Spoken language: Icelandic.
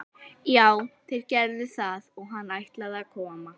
Já, þeir gerðu það og hann ætlaði að koma.